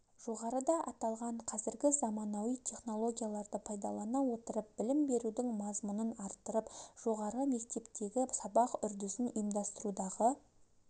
жоғарыда аталған қазіргі заманауи технологияларды пайдалана отырып білім берудің мазмұнын арттырып жоғары мектептегі сабақ үрдісін ұйымдастырудағы